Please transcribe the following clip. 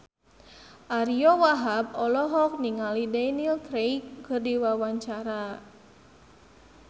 Ariyo Wahab olohok ningali Daniel Craig keur diwawancara